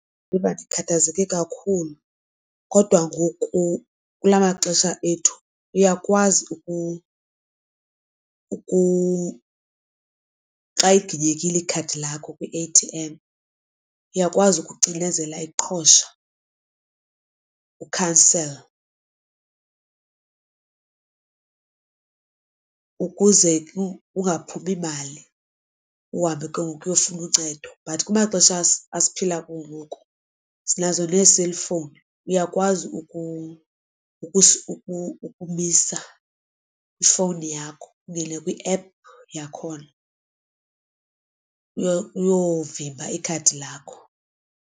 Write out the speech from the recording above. Ndiziva ndikhathazeke kakhulu kodwa ngoku kulaa maxesha ethu uyakwazi xa iginyekile ikhadi lakho kwi-A_T_M uyakwazi ukucinezela iqhosha u-cancel ukuze kungaphumi mali uhambe ke ngoku uyofuna uncedo. But kumaxesha esiphila kuwo ngoku sinazo nee-cellphone, uyakwazi ukumisa kwifowuni yakho ungene kwi-app yakhona uyovimba ikhadi lakho.